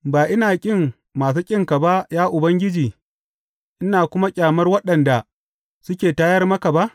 Ba ina ƙin masu ƙinka ba, ya Ubangiji, ina kuma ƙyamar waɗanda suke tayar maka ba?